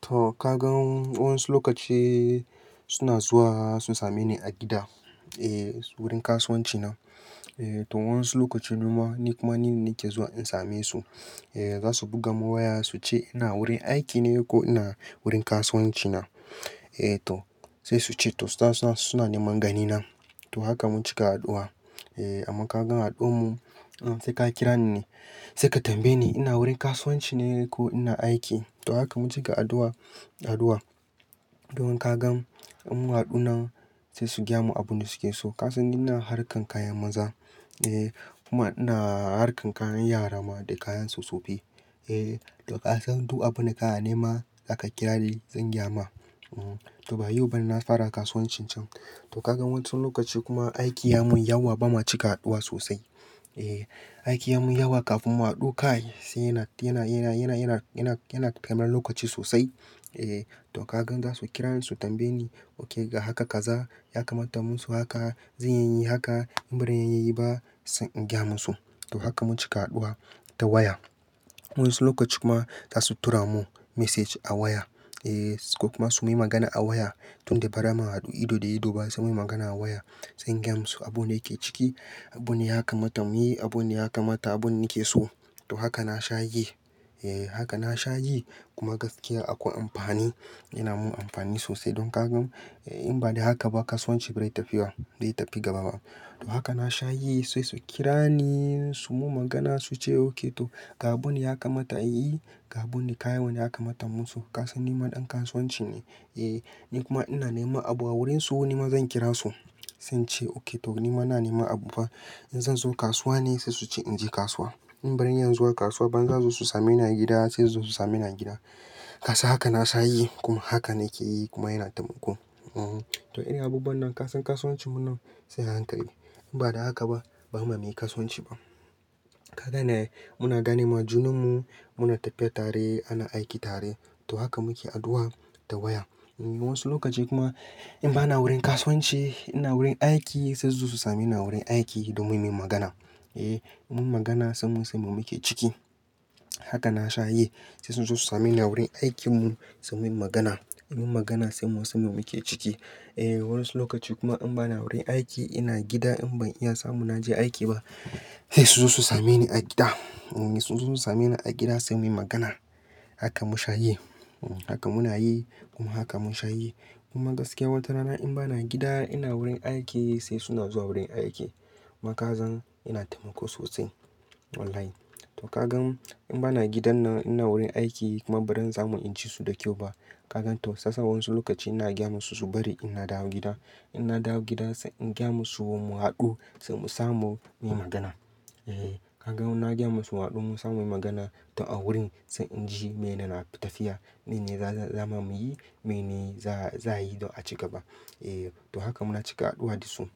To ka gan, wasu lokaci suna zuwa sun same ni a gida, eh wurin kasuwanci na. Eh to wasu lokaci kuma ni kuma ni ne ke zuwa in same su. Eh za su buga mun waya su ce ina wurin aiki ne ko ina wurin kasuwanci na. Eh to sai su ce to suna, suna neman gani na. To haka mun cika haɗuwa. Eh amma ka gan haɗuwa mu, sai ka kira ni ne, sai ka tambaye ni ina wurin kasuwanci ne ko ina aiki. To haka mun cika addu'a, addu'a. Don ka gan in mun haɗu nan sai su gyamu abin da suke so. Ka san ni na harkan kayan maza eh kuma ina harkan kayan yara ma da kayanso sofi. Eh to ka san duk abin da ka a ne ma zaka kira ni zan gyama. To ba yau ba na fara kasuwancin can. To ka gan wasu lokaci kuma aiki ya mun yawa ba mu cika haɗuwa sosai. Eh, aiki ya mun yawa kafin mu haɗu kai sai yana, yana, yana, yana, yana, yana, yana taimar lokaci sosai. Eh to ka gan za su kira ni su tambaye ni, oke ga haka kaza ya kamata mun su haka, zan yayi haka in bari yayi ba, zan gyamu su. To haka mun cika haɗuwa ta waya. Wasu lokaci kuma za su tura mun message a waya. Eh su ko kuma su yi magana a waya. Tun da bara mun haɗu ido da ido ba sai muyi magana a waya. Zan gyamu su abun da yake ciki, abun da ya kamata mu yi, abun da ya kamata abun nake so. To haka na sha yi. Eh haka na sha yi kuma gaskiya akwai amfani, yana mun amfani sosai. Don ka gan in ba da haka ba kasuwanci bai tafiya, dai tafi gaba ba. Haka na sha yi sai su kira ni su mun magana su ce oke to ga abun da ya kamata in yi, ga abun da kayan wane ya kamata mun su. Ka san ni ma ɗan kasuwanci ne. Eh ni kuma ina nema abu a wurin su ni ma zan kira su. Sai in ce oke to ni ma na nema abu fa. In zan zo kasuwa ne sai su ce in je kasuwa. In barin iyazu wa kasuwa ban za su same ni a gida sai su zo su same ni a gida. Ka san haka na sha yi kuma haka nake yi kuma yana taimako. Ehh to in irin a bubuwan nan ka san kasuwancin mu nan sai a hankali. In ba da haka ba, ba mu mi kasuwanci ba. Ka gane muna gane ma junan mu, muna tafiya tare, ana aiki tare. To haka muke addu'a ta waya. Wasu lokaci kuma in ba na wurin kasuwanci, ina wurin aiki sai su zo su same ni a wurin aiki don muyi min magana. Eh mun magana sai mun san me muke ciki. Haka na sha yi. Sai su zo su same ni a wurin aikin mu suyi min magana. Muyi magana sai mun san me muke ciki. Eh wasu lokaci kuma in ba na wurin aiki, ina gida in ban iya samu naje aiki ba, sai su zo su same ni a gida. Su zo su same ni a gida sai muyi magana. Haka mun sha yi. Haka muna yi kuma haka mun sha yi. Kuma gaskiya wata rana in ba na gida, ina wurin aiki sai suna zuwa wurin aiki. Kuma ka zan yana taimako sosai wallahi. To ka gan in ba na gidan nan ina wurin aiki kuma bari samu in ci su da kyau ba. Ka gan to sasa wasu lokaci ina gyama su su bari ina dawo gida. In na dawo gida sai in gyamu su mu haɗu sai mu samu muyi magana. Eh ka gan na gyamu su mu haɗu mun samu muyi magana to a wurin sai in ji mene na fita tafiya. Mene za, za ma muyi, mene za, za yi don a ci gaba. Eh to haka muna cika haɗuwa da su.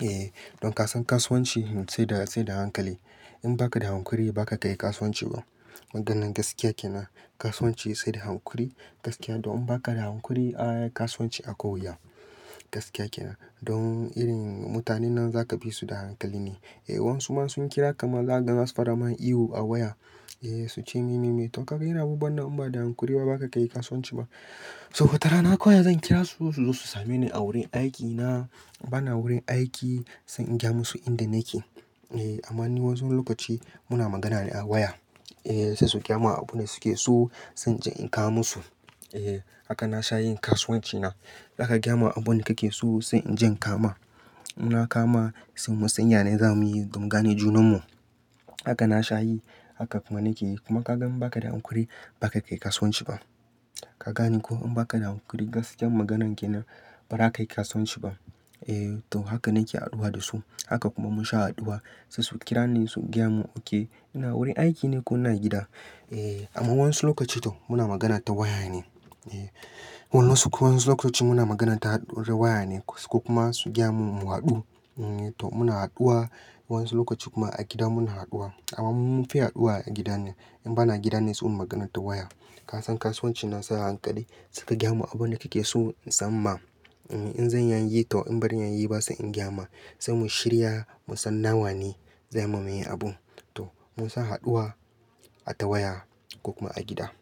Eh don ka san kasuwanci sai da, sai da hankali. In ba ka da hankuri, ba ka kayi kasuwanci ba. Maganan gaskiya kenan. Kasuwanci sai da hankuri. Gaskiya don in ba ka da hankuri, a'a kasuwanci akwai wuya. Gaskiya kenan. Don irin mutanen nan za ka bi su da hankali ne. Eh wasu ma sun kira ka ma za ka gan zasu far a ma ihu a waya. Eh su ce me, me, me. To ka gan irin abubuwan nan in ba da hankuri ba ba ka kayi kasuwanci ba. Don wata rana kawai zan kira su su zo su same ni a wurin aiki na. In ba na wurin aiki sai in gyamu su inda nake. Eh amma ni wasu lokaci muna magana ne a waya. Eh sai su gyamu abun da suke so sai je in kawoma su. Eh haka na sha yin kasuwanci na. Za ka gyamu abun da kake so sai in je kawoma. In na kawoma sai mu sanya nayi zamu yi don gane junan mu. Haka na sha yi. Haka kuma nake yi. Kuma ka gan in ba ka da hankuri, ba ka kayi kasuwanci ba. Ka gane ko in ba ka da hankuri gaskiyar maganan kenan, ba za ka kayi kasuwanci ba. Eh to haka nake addu'a da su. Haka kuma mun sha addu'a. Sai su kira ni su gyamu oke ina wurin aiki ne ko ina gida. Eh amma wasu lokaci to muna magana ta waya ne. Eh wasu, wasu lokaci muna magana ta waya ne su kuma su gyamu mu haɗu. To muna haɗuwa. Wasu lokaci kuma a gida muna haɗuwa. Amma mun fi haɗuwa a gida ne. In ba na gida ne sai mun magana ta waya. Ka san kasuwancin na sa hankali. Suka gyamu abun da kake so in san ma. In zan yayi to in bari yayi ba sai in gyama. Sai mu shirya, mu san nawa ne. Zai mu muyi abun. To mun sa haɗuwa a ta waya ko kuma a gida.